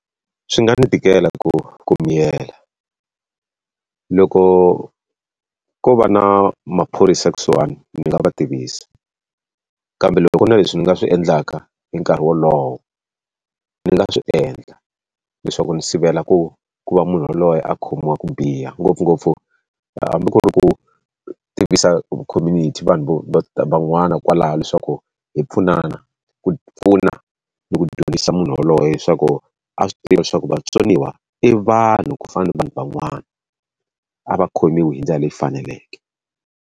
Swi nga ni tikela ku ku miyela. Loko ko va na maphorisa kusuhani ni nga va tivisa kambe loko ku ri na leswi ni nga swi endlaka hi nkarhi wolowo, ndzi nga swi endla leswaku ni sivela ku ku va munhu yaloye a khomiwa ku biha. Ngopfungopfu hambi ku ri ku tivisa community vanhu van'wana kwalaho leswaku hi pfunana, ku pfuna ni ku dyondzisa munhu yoloye leswaku a swi tiva leswaku vatsoniwa i vanhu ku fana na vanhu van'wana, a va khomiwe hi ndlela leyi faneleke.